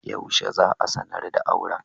Yaushe za'a sa ranar auran?